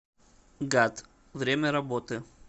гат время работы